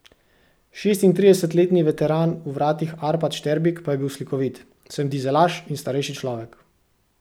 Šestintridesetletni veteran v vratih Arpad Šterbik pa je bil slikovit: "Sem dizelaš in starejši človek.